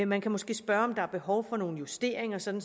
man kan måske spørge om der er behov for nogle justeringer sådan